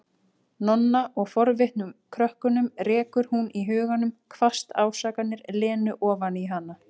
Nonna og forvitnum krökkunum, rekur hún í huganum hvasst ásakanir Lenu ofan í hana.